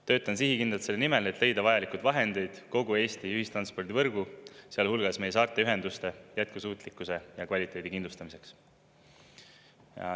Töötan sihikindlalt selle nimel, et leida vajalikud vahendid kogu Eesti ühistranspordivõrgu, sealhulgas meie saarte ühenduste jätkusuutlikkuse ja kvaliteedi kindlustamiseks.